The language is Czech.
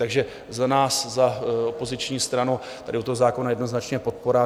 Takže za nás, za opoziční stranu, tady u toho zákona jednoznačně podpora.